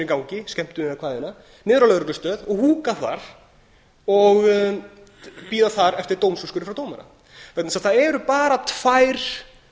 gangi skemmtun eða hvaðeina niður á lögreglustöð og húka þar og bíða þar eftir dómsúrskurði frá dómara vegna þess að það eru bara tvær